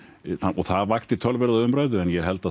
það vakti töluverða umræðu en ég held að